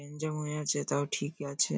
গ্যানজাম হয়ে আছে তাও ঠিকই আছে।